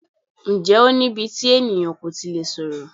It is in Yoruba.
Ǹjẹ́ o ní íbí tí ènìyàn kò tí lè sọ̀rọ̀?